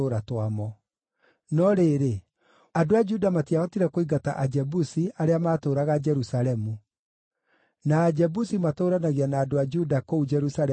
No rĩrĩ, andũ a Juda matiahotire kũingata Ajebusi, arĩa maatũũraga Jerusalemu; na Ajebusi matũũranagia na andũ a Juda kũu Jerusalemu nginya ũmũthĩ.